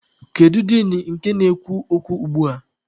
Kedu din nke na-ekwu okwu ugbua?